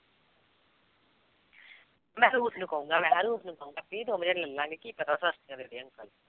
ਮੈਂ ਨੂੰ ਕਹੂੰਗਾ ਮੈਂ ਨੂੰ ਕਹੂੰਗਾ ਵੀ ਦੋਵੇਂ ਜਾਣੇ ਲੈ ਲਵਾਂਗੇ ਕੀ ਪਤਾ ਸਸਤੀਆਂ ਦੇ ਦੇਣ।